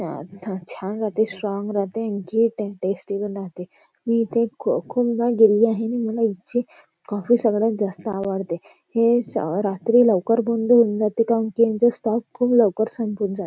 छान राहते स्ट्राँग राहते आणखी टेस्टी पण राहते मी इथे खु खूपदा गेलेली आहे आणि मला इथ ची कॉफी सगळ्यात जास्त आवडते हे श रात्री लवकर बंद होऊन जाते कारण यांचा स्टॉक खूप लवकर संपून जा --